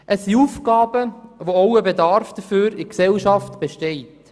Es sind Aufgaben, für welche ein Bedarf in der Gesellschaft besteht.